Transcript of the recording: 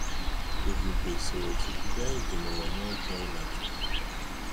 Ebube soro chukwu gaa ije n'ụwa na ekweghi na chukwu.